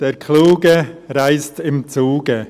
«Der Kluge reist im Zuge».